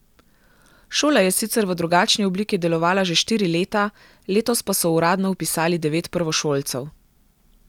Šola je sicer v drugačni obliki delovala že štiri leta, letos pa so uradno vpisali devet prvošolcev.